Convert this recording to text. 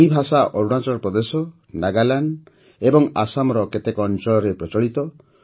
ଏହି ଭାଷା ଅରୁଣାଚଳ ପ୍ରଦେଶ ନାଗାଲାଣ୍ଡ ଓ ଆସାମର କେତେକ ଅଞ୍ଚଳରେ ପ୍ରଚଳିତ